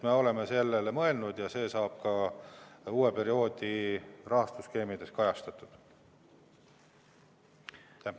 Me oleme sellele mõelnud ja see saab ka uue perioodi rahastusskeemides kajastatud.